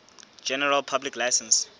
general public license